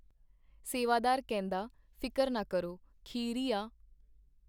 ਸੇਵਾਦਾਰ ਕਹਿੰਦਾ, ਫਿਕਰ ਨਾ ਕਰੋ, ਖੀਰ ਈ ਆ.